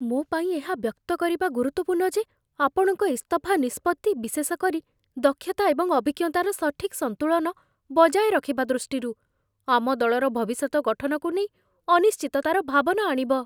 ମୋ ପାଇଁ ଏହା ବ୍ୟକ୍ତ କରିବା ଗୁରୁତ୍ୱପୂର୍ଣ୍ଣ ଯେ ଆପଣଙ୍କ ଇସ୍ତଫା ନିଷ୍ପତ୍ତି, ବିଶେଷ କରି ଦକ୍ଷତା ଏବଂ ଅଭିଜ୍ଞତାର ସଠିକ୍ ସନ୍ତୁଳନ ବଜାୟ ରଖିବା ଦୃଷ୍ଟିରୁ, ଆମ ଦଳର ଭବିଷ୍ୟତ ଗଠନକୁ ନେଇ ଅନିଶ୍ଚିତତାର ଭାବନା ଆଣିବ।